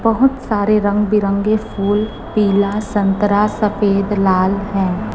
बहोत सारे रंग बिरंगे फूल पीला संतरा सफेद लाल है।